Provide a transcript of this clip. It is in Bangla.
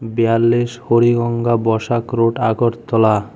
বিয়াল্লিশ হরিগঙ্গা বসাক রোড আগরতলা।